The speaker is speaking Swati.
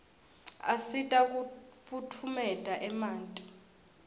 asita kufutfumeta emanti